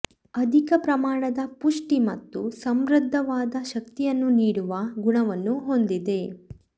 ಅಧಿಕ ಪ್ರಮಾಣದ ಪುಷ್ಟಿ ಮತ್ತು ಸಮೃದ್ಧವಾದ ಶಕ್ತಿಯನ್ನು ನೀಡುವ ಗುಣವನ್ನು ಹೊಂದಿದೆ